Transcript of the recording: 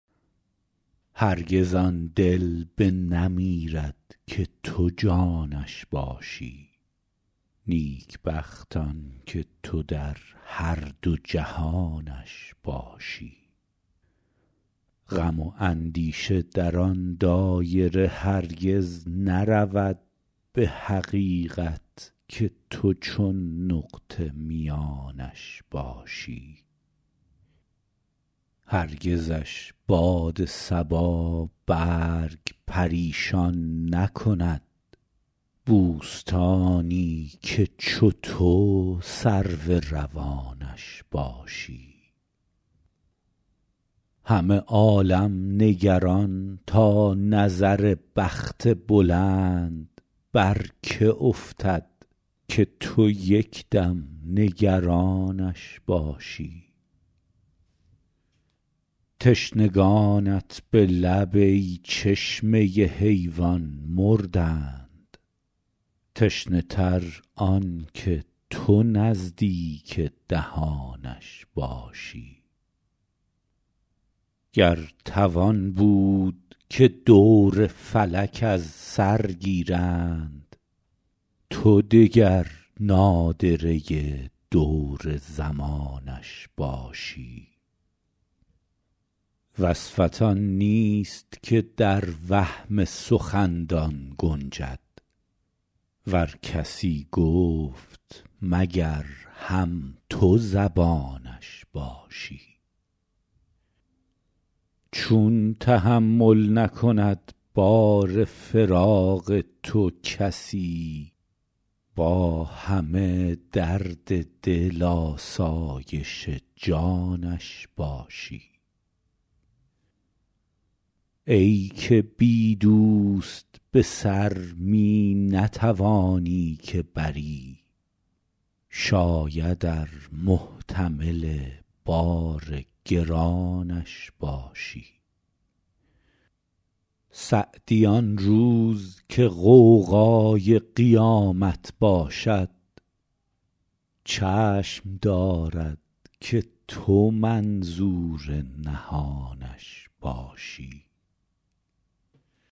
هرگز آن دل بنمیرد که تو جانش باشی نیکبخت آن که تو در هر دو جهانش باشی غم و اندیشه در آن دایره هرگز نرود به حقیقت که تو چون نقطه میانش باشی هرگزش باد صبا برگ پریشان نکند بوستانی که چو تو سرو روانش باشی همه عالم نگران تا نظر بخت بلند بر که افتد که تو یک دم نگرانش باشی تشنگانت به لب ای چشمه حیوان مردند تشنه تر آن که تو نزدیک دهانش باشی گر توان بود که دور فلک از سر گیرند تو دگر نادره دور زمانش باشی وصفت آن نیست که در وهم سخندان گنجد ور کسی گفت مگر هم تو زبانش باشی چون تحمل نکند بار فراق تو کسی با همه درد دل آسایش جانش باشی ای که بی دوست به سر می نتوانی که بری شاید ار محتمل بار گرانش باشی سعدی آن روز که غوغای قیامت باشد چشم دارد که تو منظور نهانش باشی